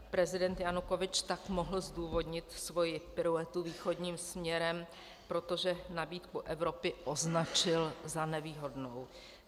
Prezident Janukovyč tak mohl zdůvodnit svoji piruetu východním směrem, protože nabídku Evropy označil za nevýhodnou.